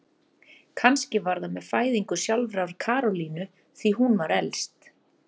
Kannski var það með fæðingu sjálfrar Karolínu, því hún var elst.